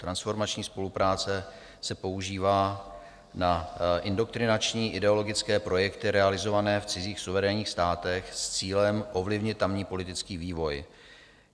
Transformační spolupráce se používá na indoktrinační ideologické projekty realizované v cizích suverénních státech s cílem ovlivnit tamní politický vývoj.